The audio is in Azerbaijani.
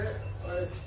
Nə deyirsən?